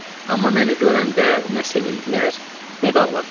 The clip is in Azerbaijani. Amma məni görəndə nə sevindilər, nə də ağladılar.